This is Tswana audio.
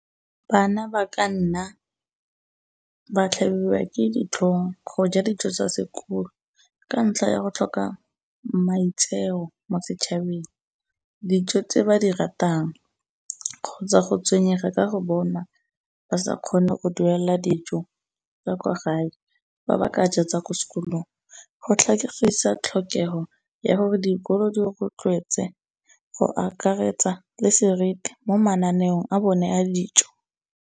Bana ba ka nna ba tlhabiwa ke ditlhong go ja dijo tsa sekolo ka ntlha ya go tlhoka maitseo mo setšhabeng, dijo tse ba di ratang, kgotsa go tshwenyega ka go bonwa ba sa kgone go duela dijo tsa ko gae, ba ba ka ja tsa ko skolong. Go tlhokegisa tlhokego ya gore dikolo di rotlwetse go akaretsa le seriti mo mananeong a bone a dijo.